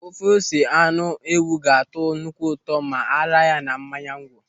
Ofe ose anụ ewụ ga-atọ nnukwu ụtọ ma a raa ya na mmanya nkwụ.